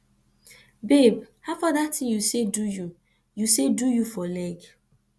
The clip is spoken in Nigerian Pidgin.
babe howfar dat thing you say do you say do you for leg